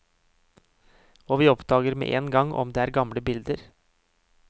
Og vi oppdager med en gang om det er gamle bilder.